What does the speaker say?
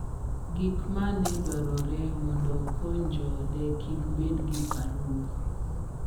Gik ma ne dwarore mondo okony joode kik bed gi parruok